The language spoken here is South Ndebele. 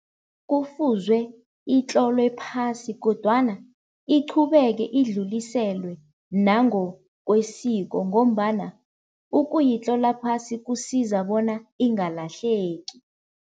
Kufuzwe itlolwe phasi kodwana iqhubeke idluliselwe nangokwesiko ngombana ukuyitlola phasi kusiza bona ingalahleki.